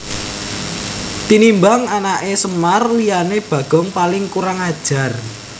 Tinimbang anaké Semar liyané Bagong paling kurang ajar